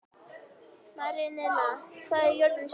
Marinella, hvað er jörðin stór?